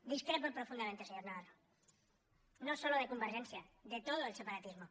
discrepo profundamente señor navarro no solo de convergència de todo el separatismo